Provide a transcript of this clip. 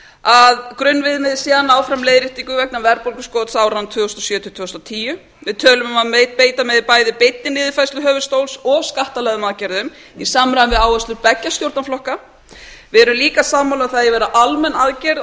að grunnviðmiðið sé að ná fram leiðréttingu vegna verðbólguskots áranna tvö þúsund og sjö til tvö þúsund og tíu við tölum um að beita megi bæði beinni niðurfærslu höfuðstóls og skattalegum aðgerðum í samræmi við áherslur beggja stjórnarflokka við erum líka sammála um að það eigi að vera almenn aðgerð